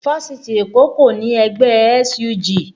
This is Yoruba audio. Fáṣitì Èkó kò ní ẹgbẹ́ SUG